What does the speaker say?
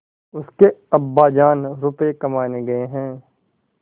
उसके अब्बाजान रुपये कमाने गए हैं